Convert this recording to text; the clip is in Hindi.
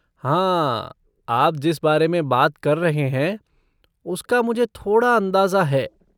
हाँ, आप जिस बारे में बात कर रहे हैं उसका मुझे थोड़ा अंदाज़ा है।